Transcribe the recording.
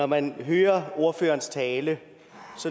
man hører ordførerens tale